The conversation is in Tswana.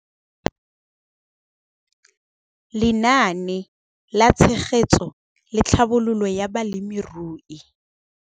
Lenaane la Tshegetso le Tlhabololo ya Balemirui.